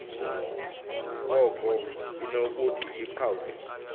koko inokuthi iqhawuke